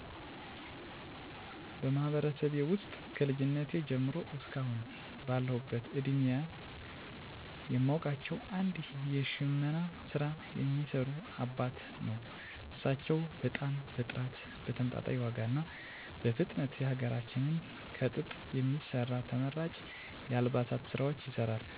በማህበረሰቤ ውስጥ ከልጅነቴ ጀምሮ እስከ አሁን ባለሁበት እድሜየ የማውቃቸው አንድ የሽመና ስራ የሚሰሩ አባትን ነው። እሳቸው በጣም በጥራት በተመጣጣኝ ዋጋ እና በፍጥነት የሀገራችንን ከጥጥ የሚሰራ ተመራጭ የአልባሳት ስራዎችን ይሰራሉ። በመቀጠል አንድ ወጣት ልጅ በሚገርም ሁኔታ የዋነዛ እንጨቶችን በመጠቀም ጠረጴዛ፣ ወንበር፣ አልጋ፣ የእቃ መደርደሪያ ወ.ዘ.ተ በጥራት በመስራት ራሱን ብሎም ቤተሰቡን ያግዛል።